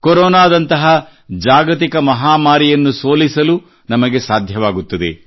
ಕೊರೊನಾದಂತಹ ಜಾಗತಿಕ ಮಹಾಮಾರಿಯನ್ನು ಸೋಲಿಸಲು ನಮಗೆ ಸಾಧ್ಯವಾಗುತ್ತದೆ